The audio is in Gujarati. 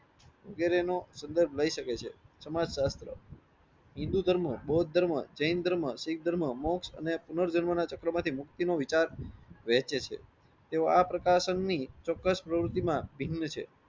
વગેરે નો સંદર્ભ લઇ શકાય છે. સમાજ શાસ્ત્ર હિન્દૂ ધર્મ બૌદ્ધ ધર્મ જૈન ધર્મ શીખ ધર્મ મોકઢ અને પુનર્જન્મોના ચક્રો માંથી મુક્તિ નો વિચાર વહેંચે છે. તેઓ આ પ્રકાશન ની ચોક્કસ પ્રવુતિ ના ભિન્ન છે.